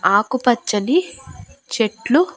ఆకుపచ్చని చెట్లు--